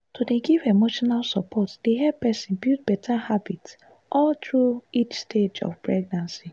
to dey give emotional support dey help person build better habits all through each stage of pregnancy.